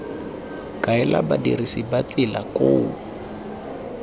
kaela badirisi ba tsela koo